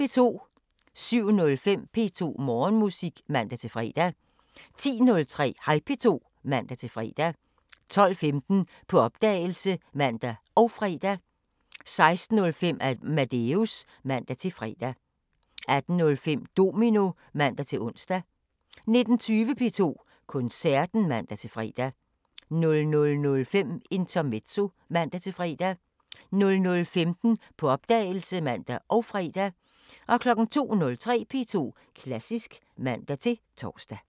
07:05: P2 Morgenmusik (man-fre) 10:03: Hej P2 (man-fre) 12:15: På opdagelse (man og fre) 16:05: Amadeus (man-fre) 18:05: Domino (man-ons) 19:20: P2 Koncerten (man-fre) 00:05: Intermezzo (man-fre) 00:15: På opdagelse (man og fre) 02:03: P2 Klassisk (man-tor)